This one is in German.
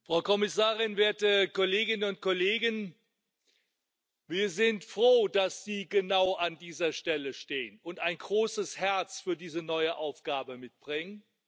Frau Präsidentin! Frau Kommissarin, werte Kolleginnen und Kollegen! Wir sind froh, dass Sie genau an dieser Stelle stehen und ein großes Herz für diese neue Aufgabe mitbringen.